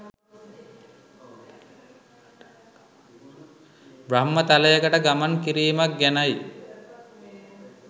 බ්‍රහ්ම තලයකට ගමන් කිරීමක් ගැනයි.